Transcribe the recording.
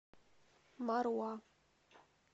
маруа